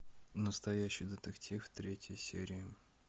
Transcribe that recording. настоящий детектив третья серия